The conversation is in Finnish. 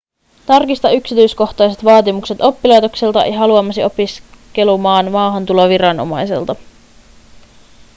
tarkista yksityiskohtaiset vaatimukset oppilaitokselta ja haluamasi opiskelumaan maahantuloviranomaisilta